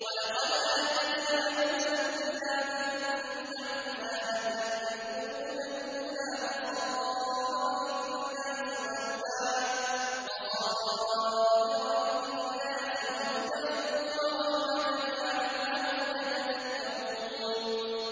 وَلَقَدْ آتَيْنَا مُوسَى الْكِتَابَ مِن بَعْدِ مَا أَهْلَكْنَا الْقُرُونَ الْأُولَىٰ بَصَائِرَ لِلنَّاسِ وَهُدًى وَرَحْمَةً لَّعَلَّهُمْ يَتَذَكَّرُونَ